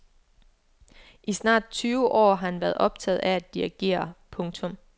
I snart tyve år har han været optaget af at dirigere. punktum